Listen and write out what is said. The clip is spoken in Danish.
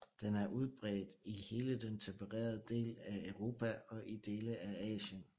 Den er udbredt i hele den tempererede del af Europa og i dele af Asien